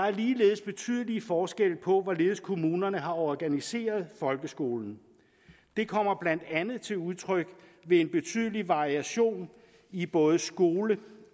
er ligeledes betydelige forskelle på hvorledes kommunerne har organiseret folkeskolen det kommer blandt andet til udtryk ved en betydelig variation i både skole